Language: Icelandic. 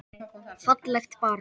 Fallegt barn.